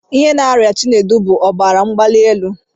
Ihe na-arịa Chinedu bụ ọbara mgbalielu